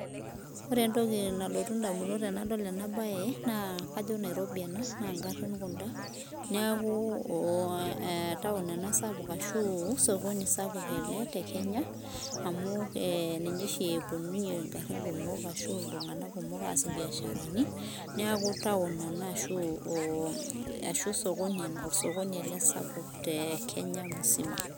ore entoki nalotu indamunot tenadol ena bae na kajo nairobi ena na ingarin kuna, niaku town ena sapuk ashu sokoni sapuk ele tekenya, amu ninye oshi eponunye, ngarin kumok ashu iltunganak kumok asie ibiasharani niaku, taon ena ashu osokoni ele sapuk te kenya musima.